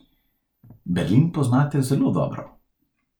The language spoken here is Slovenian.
Berlin poznate zelo dobro.